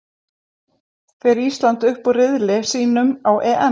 Fer Ísland upp úr riðli sínum á EM?